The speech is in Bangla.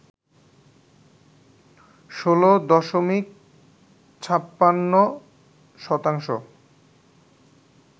১৬ দশমিক ৫৬ শতাংশ